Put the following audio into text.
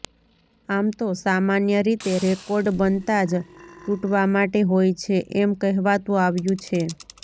આમ તો સામાન્ય રીતે રેકોર્ડ બનતા જ તુટવા માટે હોય છે એમ કહેવાતુ આવ્યુ છે